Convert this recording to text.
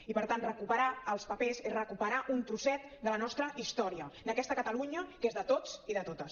i per tant recuperar els papers és recuperar un trosset de la nostra història d’aquesta catalunya que és de tots i de totes